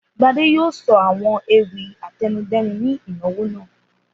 Gbadé yóò sọ àwọn ewì àtẹnudẹ́nu ní ìnáwó náà.